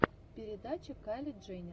передача кайли дженнер